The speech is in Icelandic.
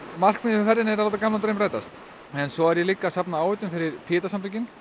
markmiðið með ferðinni er að láta gamlan draum rætast en svo er ég líka að safna áheitum fyrir Pieta samtökin